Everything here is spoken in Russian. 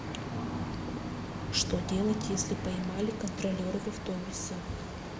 что делать если поймали контролеры в автобусе